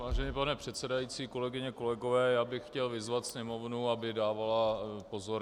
Vážený pane předsedající, kolegyně, kolegové, já bych chtěl vyzvat sněmovnu, aby dávala pozor.